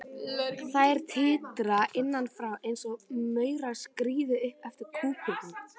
Þær titra innan frá einsog maurar skríði upp eftir kúpunni.